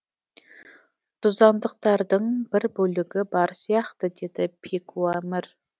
тұздандықтардың бір бүлігі бар сияқты деді пекуамір